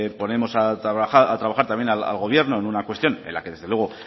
ponemos a trabajar también al gobierno en una cuestión en la que desde luego